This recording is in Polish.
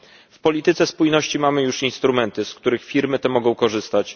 W polityce spójności mamy już instrumenty, z których firmy te mogą korzystać.